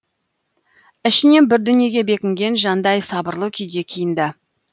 ішінен бір дүниеге бекінген жандай сабырлы күйде киінді